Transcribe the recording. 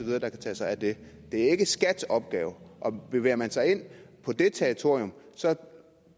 der kan tage sig af det er ikke skats opgave og bevæger man sig ind på det territorium